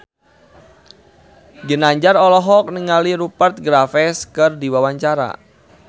Ginanjar olohok ningali Rupert Graves keur diwawancara